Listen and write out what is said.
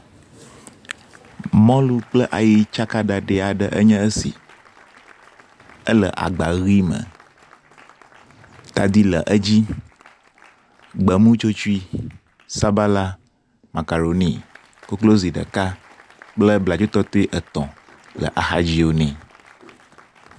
Mɔlu kple ayi tsaka ɖaɖɛ aɖe enye esi. Ele agba ʋi me. Tadi le edzi. Gbemutsotsui, sabala, macaroni, koklozi ɖeka kple bladzotɔtɔe etɔ̃ le axadzi nɛ.